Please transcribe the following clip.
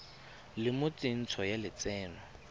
le mo tsentsho ya lotseno